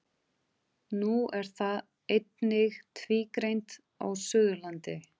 Nú er það einnig tvígreint á Suðurlandi.